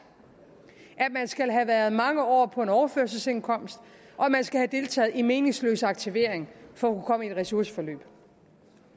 at man skal have været mange år på overførselsindkomst og man skal have deltaget i meningsløs aktivering for at i et ressourceforløb